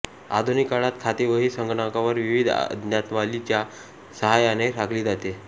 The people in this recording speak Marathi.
आधुनिक काळात खातेवही संगणकावर विविध आज्ञावलीच्या सहायाने राखली जाते